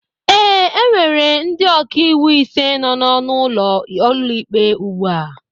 ee, e nwere ndị ọka iwu ise nọ n'ọnụ ụlọ ụlọikpe ugbu a